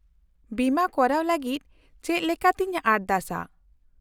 -ᱵᱤᱢᱟᱹ ᱠᱚᱨᱟᱣ ᱞᱟᱹᱜᱤᱫ ᱪᱮᱫ ᱞᱮᱠᱟᱛᱮᱧ ᱟᱨᱫᱟᱥᱼᱟ ?